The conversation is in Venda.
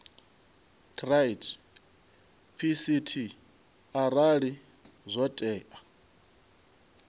treaty pct arali zwo tea